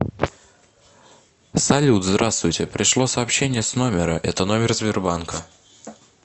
салют здравствуйте пришло сообщение с номера это номер сбербанка